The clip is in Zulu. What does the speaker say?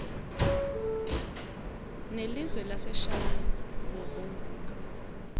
nelizwe laseshayina ukuvumbuka